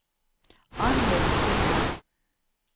Anlaug Sundet